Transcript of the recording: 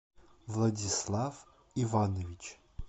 владислав иванович